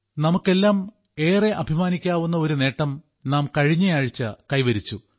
നമുക്കെല്ലാം ഏറെ അഭിമാനിക്കാവുന്ന ഒരു നേട്ടം നാം കഴിഞ്ഞയാഴ്ച കൈവരിച്ചു